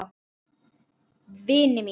Vini mínum!